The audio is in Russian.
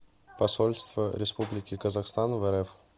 посольство республики казахстан в рф